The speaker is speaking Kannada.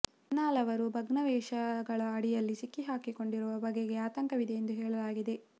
ಇನ್ನೂ ಲವರು ಭಗ್ನಾವಶೇಷಗಳ ಅಡಿಯಲ್ಲಿ ಸಿಕ್ಕಿಹಾಕಿಕೊಂಡಿರುವ ಬಗೆಗೆ ಆತಂಕವಿದೆ ಎಂದು ಹೇಳಲಾಗಿದೆ